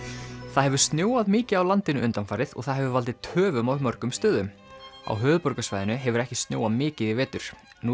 það hefur snjóað mikið á landinu undanfarið og það hefur valdið töfum á mörgum stöðum á höfuðborgarsvæðinu hefur ekki snjóað mikið í vetur nú